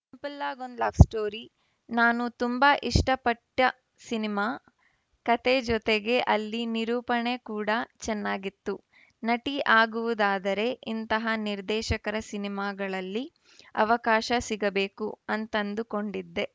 ಪಲ್ಲಾಗ್‌ ಒಂದ್‌ love story ನಾನು ತುಂಬಾ ಇಷ್ಟಪಟ್ಟಸಿನಿಮಾ ಕತೆ ಜತೆಗೆ ಅಲ್ಲಿ ನಿರೂಪಣೆ ಕೂಡ ಚೆನ್ನಾಗಿತ್ತು ನಟಿ ಆಗುವುದಾದರೆ ಇಂತಹ ನಿರ್ದೇಶಕರ ಸಿನಿಮಾಗಳಲ್ಲಿ ಅವಕಾಶ ಸಿಗಬೇಕು ಅಂತಂದುಕೊಂಡಿದ್ದೆ